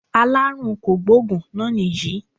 Aláàrùn kògbóògùn náà nìyí